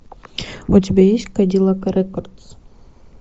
у тебя есть кадиллак рекордс